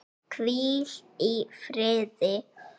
Hvíl í fríði.